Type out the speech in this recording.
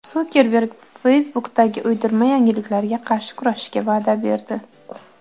Sukerberg Facebook’dagi uydirma yangiliklarga qarshi kurashishga va’da berdi.